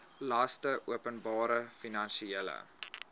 laste openbare finansiële